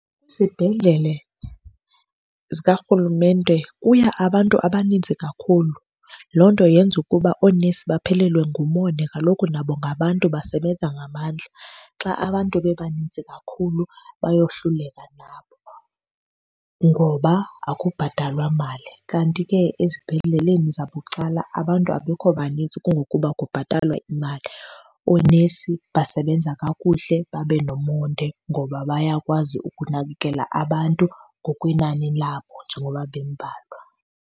zikarhulumente kuya abantu abaninzi kakhulu. Loo nto yenze ukuba oonesi baphelelwe ngumonde kaloku nabo ngabantu basebenza ngamandla, xa abantu bebaninzi kakhulu bayohluleka nabo ngoba akubhatalwa mali. Kanti ke esibhedleleni zabucala abantu abekho banintsi kungokuba kubhatalwa imali. Oonesi basebenza kakuhle babe nomonde ngoba bayakwazi ukunakekela abantu ngokwenani labo njengoba bembalwa.